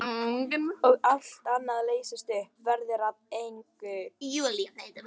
Og allt annað leysist upp, verður að engu.